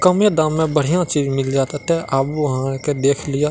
कमे दाम में बढ़िया चीज मिल जात एता आबू आहां आर के देख लियो।